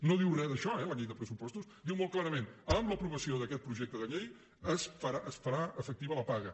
no diu res d’això eh la llei de pressupostos diu molt clarament amb l’aprovació d’aquest projecte de llei es farà efectiva la paga